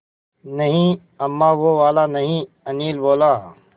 नहीं अम्मा वो वाला नहीं अनिल बोला